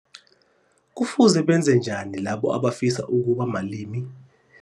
Kufuze benze njani labo abafisa ukuba malimi